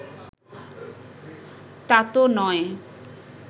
তাতো নয়